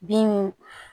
Bin